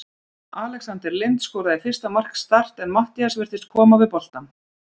Alexander Lind skoraði fyrsta mark Start en Matthías virtist koma við boltann.